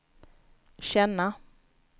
känna